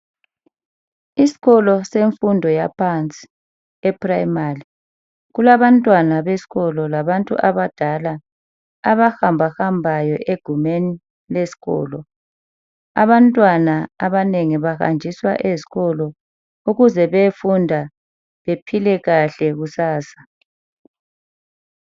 Isikolo semfundo yaphansi, eprimali. Kulabantwana besikolo, labantu abadala. Abahambahambayo, egumeni lesikolo. Abantwana, abanengi bahanjiswa esikolo. Ukuze beyefunda, bephile kahle kusasa.